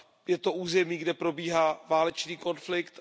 Je to území, kde probíhá válečný konflikt.